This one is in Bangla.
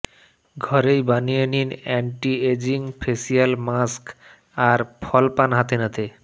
ঘরেই বানিয়ে নিন অ্যান্টি এজিং ফেসিয়াল মাস্ক আর ফল পান হাতেনাতে